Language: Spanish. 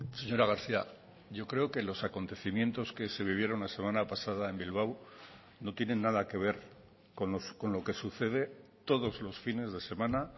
señora garcía yo creo que los acontecimientos que se vivieron la semana pasada en bilbao no tienen nada que ver con lo que sucede todos los fines de semana